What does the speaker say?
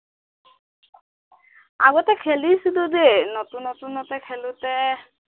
আগতে খেলিছিলো দেই নতুন নতুনতে খেলোতে